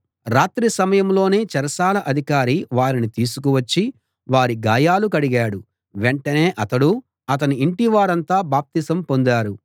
రాత్రి ఆ సమయంలోనే చెరసాల అధికారి వారిని తీసుకు వచ్చి వారి గాయాలు కడిగాడు వెంటనే అతడూ అతని ఇంటి వారంతా బాప్తిసం పొందారు